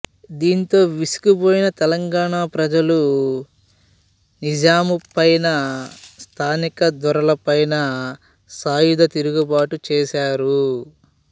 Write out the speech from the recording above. దీంతో విసిగిపోయిన తెలంగాణ ప్రజలు నిజాము పైన స్థానిక దొరలపైన సాయుధ తిరుగుబాటు చేశారు